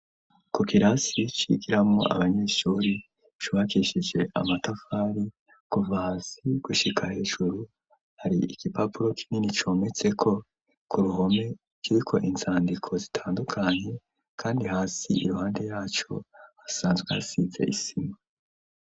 Ku kirasi cigiramwo abanyeshuri cubakishije amatafari kuva hasi gushika hejuru hari igipapuro kinini cometse ko ku ruhome kiriko inzadiko zitandukanye kandi hasi iruhande yaco hasanzwe hasize isima.